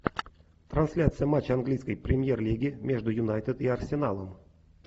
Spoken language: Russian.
трансляция матча английской премьер лиги между юнайтед и арсеналом